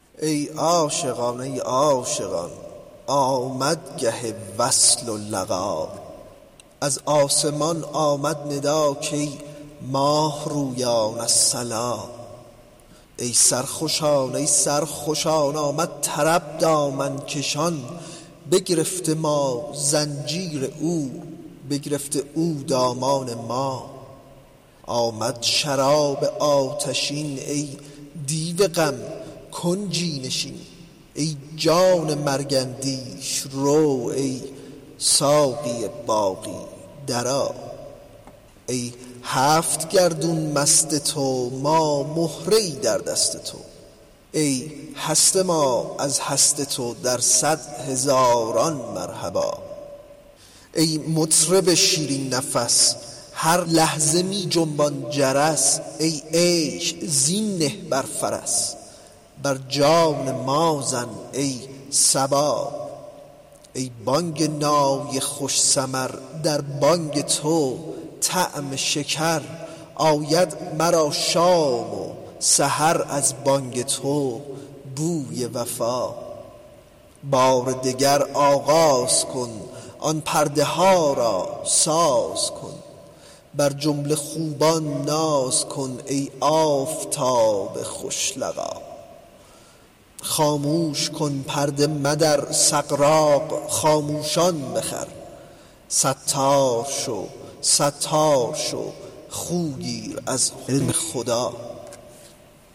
ای عاشقان ای عاشقان آمد گه وصل و لقا از آسمان آمد ندا کای ماه رویان الصلا ای سرخوشان ای سرخوشان آمد طرب دامن کشان بگرفته ما زنجیر او بگرفته او دامان ما آمد شراب آتشین ای دیو غم کنجی نشین ای جان مرگ اندیش رو ای ساقی باقی درآ ای هفت گردون مست تو ما مهره ای در دست تو ای هست ما از هست تو در صد هزاران مرحبا ای مطرب شیرین نفس هر لحظه می جنبان جرس ای عیش زین نه بر فرس بر جان ما زن ای صبا ای بانگ نای خوش سمر در بانگ تو طعم شکر آید مرا شام و سحر از بانگ تو بوی وفا بار دگر آغاز کن آن پرده ها را ساز کن بر جمله خوبان ناز کن ای آفتاب خوش لقا خاموش کن پرده مدر سغراق خاموشان بخور ستار شو ستار شو خو گیر از حلم خدا